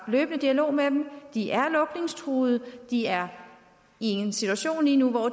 løbende dialog med dem de er lukningstruede de er i en situation lige nu hvor